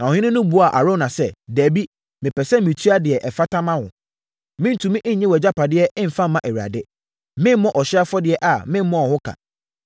Na ɔhene no buaa Arauna sɛ, “Dabi! Mepɛ sɛ metua deɛ ɛfata ma wo. Merentumi nnye wʼagyapadeɛ mfa mma Awurade. Meremmɔ ɔhyeɛ afɔdeɛ a memmɔɔ ho ka.”